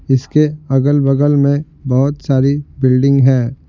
इसके अगल-बगल में बहुत सारी बिल्डिंग हैं।